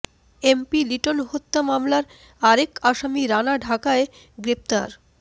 MP Liton হত্যা মামলার আরেক আসামি রানা ঢাকায় গ্রেফতার